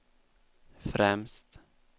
främst